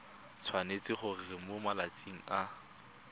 tshwanetse gore mo malatsing a